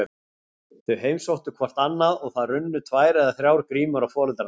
Þau heimsóttu hvort annað og það runnu tvær eða þrjár grímur á foreldrana.